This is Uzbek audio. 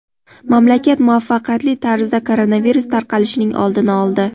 Mamlakat muvaffaqiyatli tarzda koronavirus tarqalishining oldini oldi.